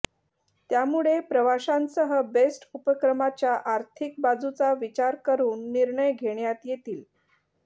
त्यामुळे प्रवाशांसह बेस्ट उपक्रमाच्या आर्थिक बाजूचा विचार करून निर्णय घेण्यात येतील